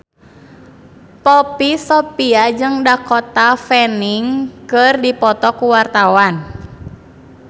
Poppy Sovia jeung Dakota Fanning keur dipoto ku wartawan